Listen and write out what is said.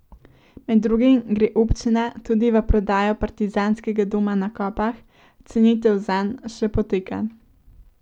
Med drugim gre občina tudi v prodajo Partizanskega doma na Kopah, cenitev zanj še poteka.